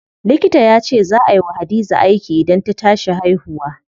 Likita yace zaa ay wa Hadiza aiki idan ta tashi haihuwa.